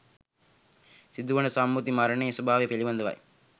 සිදුවන සම්මුති මරණයේ ස්වභාවය පිළිබඳවයි